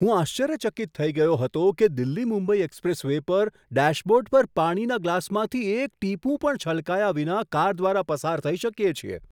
હું આશ્ચર્યચકિત થઈ ગયો હતો કે દિલ્હી મુંબઈ એક્સપ્રેસ વે પર ડેશબોર્ડ પર પાણીના ગ્લાસમાંથી એક ટીપું પણ છલકાયા વિના કાર દ્વારા પસાર થઈ શકીએ છીએ.